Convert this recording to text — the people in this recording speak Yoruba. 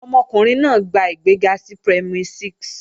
Ọmọkùnrin náà gba ìgbéga sí Primary 6